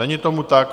Není tomu tak.